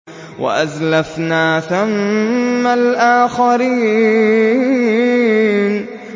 وَأَزْلَفْنَا ثَمَّ الْآخَرِينَ